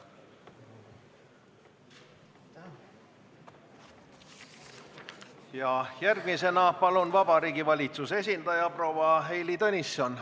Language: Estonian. Järgmisena palun Vabariigi Valitsuse esindaja proua Heili Tõnisson!